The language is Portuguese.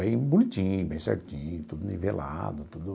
Bem bonitinho, bem certinho, tudo nivelado, tudo...